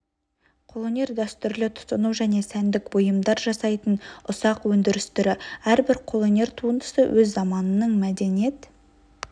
қолөнер дәстүрлі тұтыну және сәндік бұйымдар жасайтын ұсақ өндіріс түрі әрбір қолөнер туындысы өз заманының мәдениет